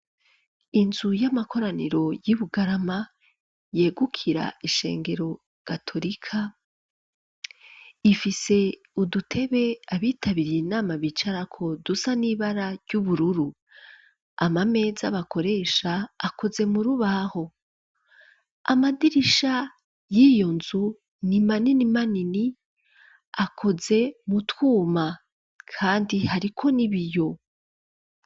Inzu y'amakoraniro, y'i Bugarama, yegukira ishengero gatorika; ifise udutebe, abitabiriye inama, bicarako, dusa n'ibara ry'ubururu; amameza bakoresha, akoze mu rubaho; amadirisha, y'iyo nzu, ni manini manini, akoze mu twuma, kandi hariko n'ibiyo.